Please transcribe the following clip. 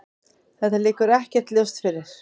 Þetta liggur ekkert ljóst fyrir.